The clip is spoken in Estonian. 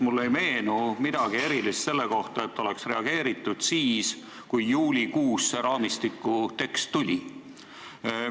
Mulle ei meenu midagi erilist selle kohta, et oleks reageeritud siis, kui juulikuus see raamistiku tekst tuli.